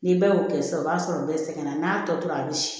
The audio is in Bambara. Ni bɛɛ y'o kɛ sisan o b'a sɔrɔ bɛɛ sɛgɛnna n'a tɔ tora a bi